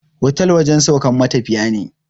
Otal wajen saukan matafiya ne